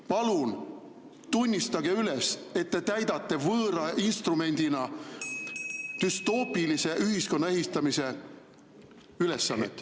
Palun tunnistage üles, et te täidate võõra instrumendina düstoopilise ühiskonna ehitamise ülesannet.